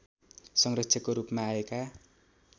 संरक्षकको रूपमा आएका